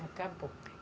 Acabou.